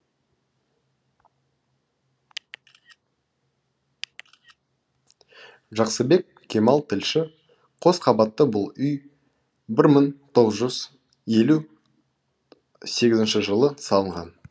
жақсыбек кемал тілші қос қабатты бұл үй бір мың тоғыз жүз елу сегізінші жылы салынған